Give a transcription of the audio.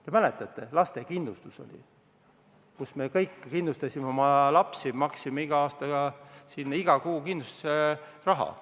Te mäletate, oli lastekindlustus, me kõik kindlustasime oma lapsi, maksime iga kuu kindlustusraha.